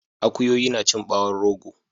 Akuyoyi nacin ɓawon rogo